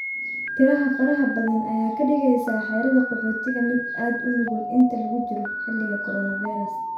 Tirada faraha badan ayaa ka dhigaysa xerada qaxootiga mid aad u nugul inta lagu jiro xiligi coronavirus.